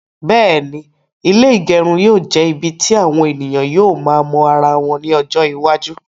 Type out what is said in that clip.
Bẹ́ẹ̀ni, ilé ígẹrun yóò jẹ ibì tí àwọn ènìyàn yóò máa mọ ara wọn ní ọjọ iwájú